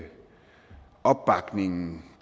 opbakningen